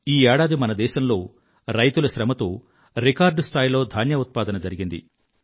ఈ ఏడాది మన దేశంలో రైతుల శ్రమతో రికార్డు స్థాయిలో ధాన్య ఉత్పాదన జరిగింది